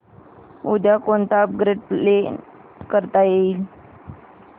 उद्या कोणतं upgrade plan करता येईल